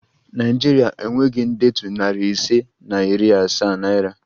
Naịjiria enweghị ndetu nari ise na iri asaa naira